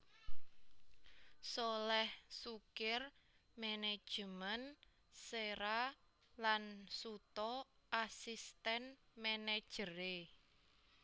Sholèh Sukir management Séra lan Suto asistèn manageré